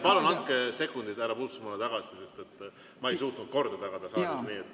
Palun andke sekundid härra Puustusmaale tagasi, sest ma ei suutnud korda tagada saalis!